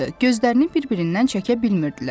Gözlərini bir-birindən çəkə bilmirdilər.